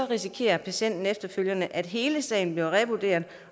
risikerer patienten efterfølgende at hele sagen bliver revurderet